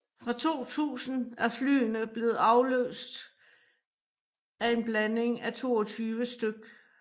Fra 2000 er flyene blevet afløst af en blanding af 22 stk